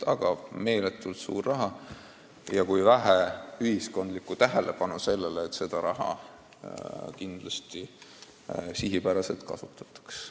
Ühesõnaga, meeletult suured summad, aga vähe ühiskondlikku tähelepanu, et seda raha kindlasti sihipäraselt kasutataks.